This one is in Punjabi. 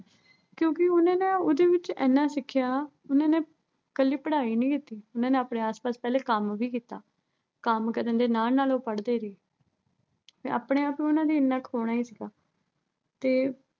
ਕਿਉਂ ਕਿ ਉਨ੍ਹਾਂ ਨੇ ਇਹਦੇ ਵਿੱਚ ਇੰਨਾ ਸਿੱਖਿਆ ਵੀ। ਉਨ੍ਹਾਂ ਨੇ ਕੱਲ੍ਹੀ ਪੜ੍ਹਾਈ ਨਹੀਂ ਕੀਤੀ। ਉਨ੍ਹਾਂ ਨੇ ਆਪਣੇ ਆਸਪਾਸ ਪਹਿਲੇ ਕੰਮ ਵੀ ਕੀਤਾ। ਕੰਮ ਕਰਨ ਦੇ ਨਾਲ ਨਾਲ ਉਹ ਪੜ੍ਹਦੇ ਰਹੇ। ਤੇ ਆਪਣੇ ਆਪ ਨੂੰ ਉਨ੍ਹਾਂ ਨੇ ਇਨ੍ਹਾਂ ਸੀਗਾ ਤੇ